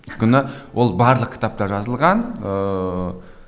өйткені ол барлық кітапта жазылған ыыы